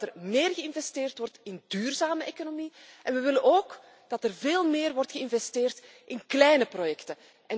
We willen dat er meer geïnvesteerd wordt in duurzame economie en we willen ook dat er veel meer wordt geïnvesteerd in kleine projecten.